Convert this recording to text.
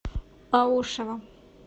аушева